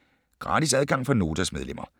Gratis adgang for Notas medlemmer